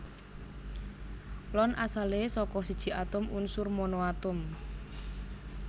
Ion asalé saka siji atom unsur monoatom